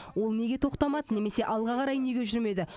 ол неге тоқтамады немесе алға қарай неге жүрмеді